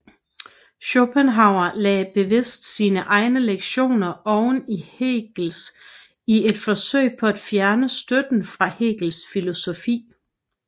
Schopenhauer lagde bevidst sine egne lektioner oveni Hegels i et forsøg på at fjerne støtten fra Hegels filosofi